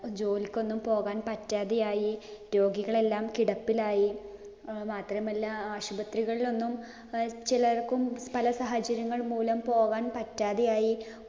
ജോലിക്കൊന്നും പോകാൻ പറ്റാതെയായി. രോഗികളെല്ലാം കിടപ്പിലായി. മാത്രമല്ല ആശുപത്രികളിലൊന്നും ചിലര്‍ക്കും പല സാഹചര്യങ്ങള്‍ മൂലം പോകാന്‍ പറ്റാതെയായി.